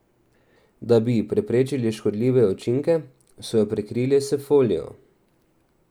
Da bi preprečili škodljive učinke, so jo prekrili s folijo.